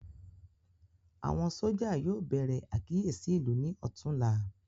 Àwọn sójà yóò bèrè àkíyèsí ìlú ní ọtún la